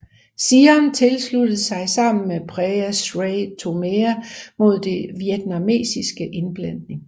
Siam sluttede sig sammen med Prea Srey Thomea mod den vietnamesiske indblanding